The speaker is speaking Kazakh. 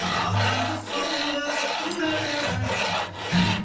ал қазір сол қызықтың қайда бәрі